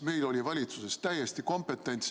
Meil oli valitsuses kompetents täiesti olemas.